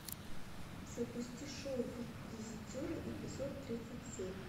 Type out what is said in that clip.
запусти шоу визитеры эпизод тридцать семь